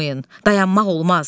Did durmayın, dayanmaq olmaz.